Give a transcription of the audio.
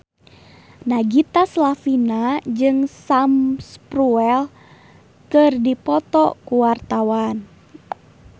Nagita Slavina jeung Sam Spruell keur dipoto ku wartawan